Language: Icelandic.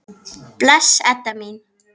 Bless, Edda mín.